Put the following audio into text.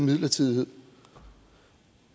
midlertidighed